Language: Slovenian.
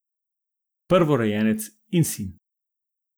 Prvorojenec in sin.